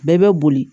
Bɛɛ bɛ boli